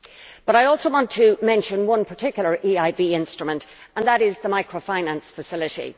But I also want to mention one particular EIB instrument, and that is the Microfinance Facility.